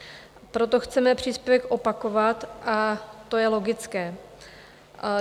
Proto chceme příspěvek opakovat, a to je logické.